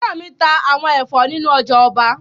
Fẹ́rànmi ta àwọn ẹ̀fọ́ nínu ọjà ọba